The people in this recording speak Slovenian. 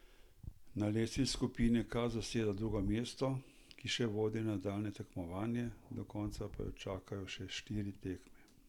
Na lestvici skupine K zaseda druga mesto, ki še vodi v nadaljnje tekmovanje, do konca pa jo čakajo štiri tekme.